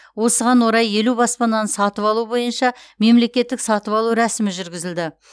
осыған орай елу баспананы сатып алу бойынша мемлекеттік сатып алу рәсімі жүргізілді